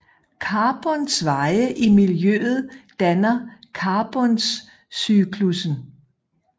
Carbons veje i miljøet danner carboncyklussen